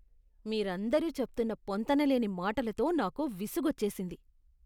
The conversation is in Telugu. మీరందరూ చెప్తున్న పొంతనలేని మాటలతో నాకు విసుగోచ్చేసింది.